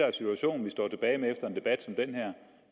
er situationen vi står tilbage med efter en debat som den